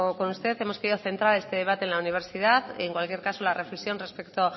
con usted hemos querido centrar este debate en la universidad en cualquier caso la reflexión respecto